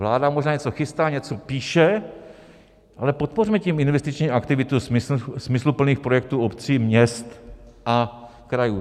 Vláda možná něco chystá, něco píše, ale podpořme tím investiční aktivitu smysluplných projektů obcí, měst a krajů.